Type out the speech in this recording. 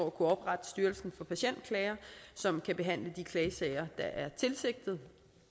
at kunne oprette styrelsen for patientklager som kan behandle de klagesager der er tilsigtet